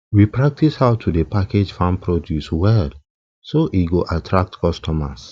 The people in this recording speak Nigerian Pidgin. we practice how to dey package farm produce well so e go attract customers